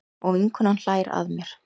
Og vinkonan hlær að mér.